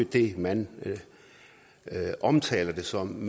det man omtaler det som